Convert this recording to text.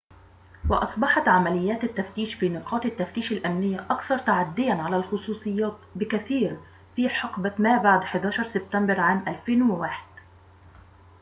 وأصبحت عمليات التفتيش في نقاط التفتيش الأمنية أكثر تعدياً على الخصوصيات بكثير في حقبة ما بعد 11 سبتمبر عام 2001